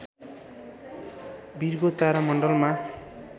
Virgo तारा मण्डलमा